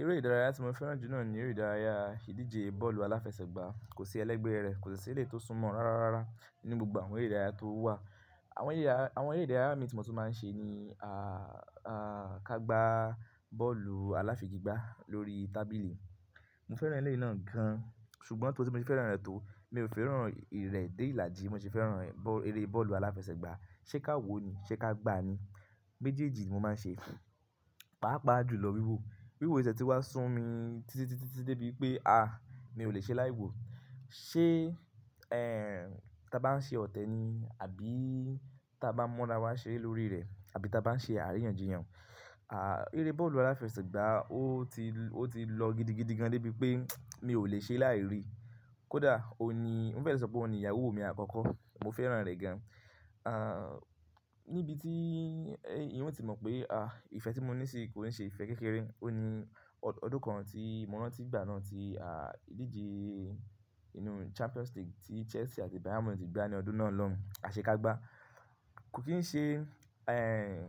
Eré ìdárayá tí mo fẹ́ràn jù náà ni eré ìdárayá ìdíje bọ́ọ̀lù aláfẹsẹ̀gbá. Kò sí ẹlẹ́gbẹ̀ẹ́ rẹ̀, kò sí eré tó súnmọ́ rárá rárá nínú gbogbo àwọn eré ìdárayá tó wà. Àwọn eré ìdárayá mi tí mo tún máa ń ṣe ni a, a kágbá bọ́ọ̀lù aláfìgigbá lórí tábìlì. Mo fẹ́ràn eré náà gan-an, ṣùgbọ́n tó tí mo ti fẹ́ràn rẹ̀ tó, mi ò fẹ́ràn ìrẹ̀ dé ìlàjì, mo sì fẹ́ràn ẹ́, bọ, eré bọ́ọ̀lù aláfẹsẹ̀gbá. Ṣé káwo ni, ṣé kágbá ni. Méjèèjì mo máa ń ṣe fún. Pàápàá jùlọ wíwò. Wíwò ìṣẹ̀ tí wá sún mi títí, títí, títí débi pé a, mi ò lè ṣe láì wò. Ti ẹ́, ta bá ń ṣe ọ̀tẹ ni àbí tí a bá mọ́ra wá ṣe lórí rẹ̀ àbí tí a bá ń ṣe àríyànjiyàn. A, eré bọ́ọ̀lù aláfẹsẹ̀gbá ó ti, ó ti lọ gidigidi gan débi pé mi ò lè ṣe láì rí. Kódà ó ní, mo fẹ́ sọ pé ó ní ìyàwó mi àkọ́kọ́, mo fẹ́ràn rẹ̀ gan-an. A, níbi tí ẹ́, ìwọ ti mọ̀ pé a, ìfẹ́ tí mo ní sí i kò ní ṣe ìfẹ́ kékeré. Ó ní ọdún kan tí mo rán tó gbà náà tí a, ìdíje nínú Champion State tí Chelsea àti Bayern Munich gbá ní ọdún náà lọ́hun. A ṣe kágbá. Kò kín ń ṣe, ẹ́,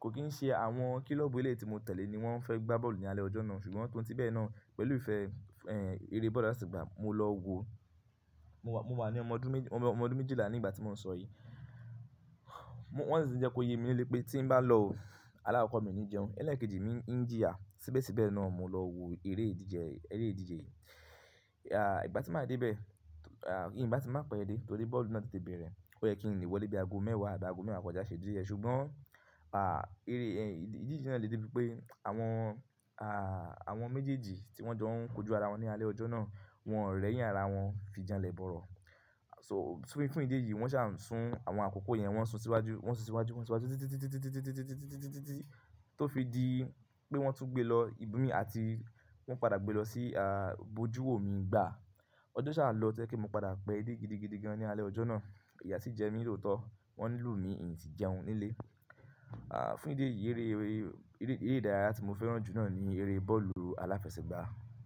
kò kín ń ṣe àwọn kílọ́ọ̀bù ilé tí mo tẹ̀lé ni wọ́n fẹ́ gbá bọ́ọ̀lù ní alẹ́ ọjọ́ náà, ṣùgbọ́n tó ti bẹ́ẹ̀ náà pẹ̀lú ìfẹ́, ẹ́, eré bọ́ọ̀lù aláfẹsẹ̀gbá, mo lọ wo. Mo wà, mo wà ní ọmọ ọdún méjì, ọmọ ọdún méjìlá nígbà tí mò ń sọ èyí. Wọ́n sì ń jẹ́ kó yé mi nílé pé tí ń bá lọ, alákokọ̀ mi o ní jẹun. Ẹlẹ́ẹ̀kejì mi ń jí à. Síbẹ̀síbẹ̀ náà mo lọ wo eré ìdíje, eré ìdíje yìí. A, ìgbà tí màá dé bẹ̀, a, ìyẹn bá ti máa pẹ́ dé torí bọ́ọ̀lù náà ti débe rẹ̀. Ó yẹ kí ń lè wọlé bí i ago mẹ́wàá àdáago mẹ́wàá kọjá ṣe díẹ̀, ṣùgbọ́n a, eré, ẹ́, ìdíje náà le dé bí pé àwọn a, àwọn méjèèjì tí wọ́n jọ ń kojú ara wọn ní alẹ́ ọjọ́ náà, wọ́n rẹ́yìn ara wọn fi jẹun lẹ bọ̀rọ̀. So fún ìdí èyí wọ́n ṣà ń sún àwọn àkókò yẹn wọ́n sún síwájú, wọ́n sún síwájú, wọ́n sún síwájú títí, títí, títí, títí, títí, títí, títí, títí tó fi di pé wọ́n tún gbé lọ ibi mi àti wọ́n padà gbé lọ sí a, bojú wò mí gbà. Ọjọ́ ṣàá lọ tẹ́lẹ̀ kí mo padà pẹ́ dé gidigidigidi gan ní alẹ́ ọjọ́ náà. Ìyà sì jẹ mí lóòótọ́. Wọ́n lù mí n ti jẹun nílé. A, fún ìdí èyí eré, eré, eré ìdárayá tí mo fẹ́ràn jù náà ni eré bọ́ọ̀lù aláfẹsẹ̀gbá.